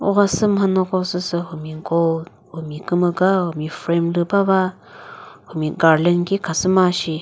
mhanyoko süsü humi gold humi kümüga humi frame lü bava humi garland shi khasüma shi.